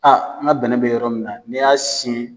n ka bɛnɛ bɛ yɔrɔ min na n'i y'a siyɛn